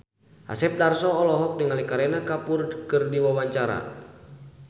Asep Darso olohok ningali Kareena Kapoor keur diwawancara